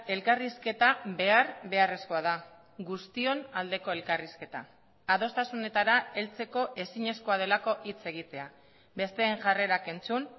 elkarrizketa behar beharrezkoa da guztion aldeko elkarrizketa adostasunetara heltzeko ezinezkoa delako hitz egitea besteen jarrerak entzun